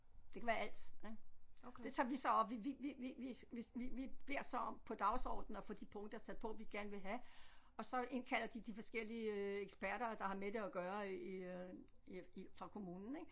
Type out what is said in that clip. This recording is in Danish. Det kan være alt ik det tager vi så op vi vi vi vi vi vi vi beder så om på dagsordenen at få de punkter sat på vi gerne vil have og så indkalder de de forskellige øh eksperter der har med det at gøre i øh i fra kommunen ik